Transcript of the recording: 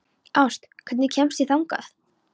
Ást, hvernig kemst ég þangað?